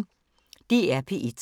DR P1